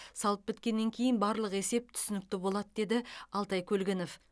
салып біткеннен кейін барлық есеп түсінікті болады деді алтай көлгінов